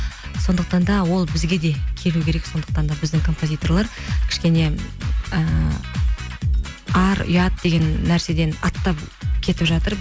сондықтан да ол бізге де келу керек сондықтан да біздің композиторлар кішкене ііі ар ұят деген нәрседен аттап кетіп жатыр